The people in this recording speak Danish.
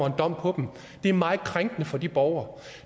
en dom det er meget krænkende for de borgere